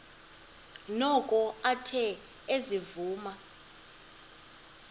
noko athe ezivuma